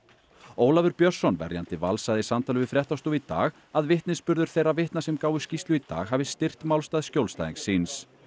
Ólafur Björnsson verjandi Vals sagði í samtali við fréttastofu í dag að vitnisburður þeirra vitna sem gáfu skýrslu í dag hafi styrkt málstað skjólstæðings síns